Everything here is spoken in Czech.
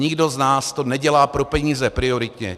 Nikdo z nás to nedělá pro peníze prioritně.